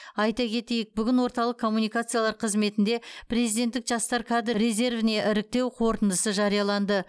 айта кетейік бүгін орталық коммуникациялар қызметінде президенттік жастар кадр резервіне іріктеу қорытындысы жарияланды